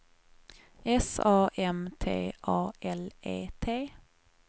S A M T A L E T